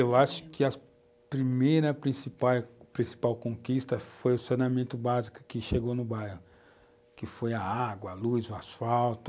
Eu acho que a primeira principal principal conquista foi o saneamento básico que chegou no bairro, que foi a água, a luz, o asfalto.